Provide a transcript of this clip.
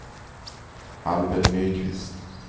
Albert Nyqvist